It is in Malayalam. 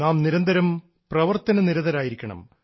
നാം നിരന്തരം പ്രവർത്തന നിരതരായിരിക്കണം